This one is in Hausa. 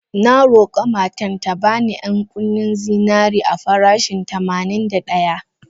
Na roka matan ta bani ƴan-kunin zinarin a farashin tamanin da daya.